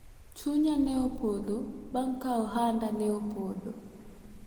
chunya ne opodho bang' ka ohanda ne opodho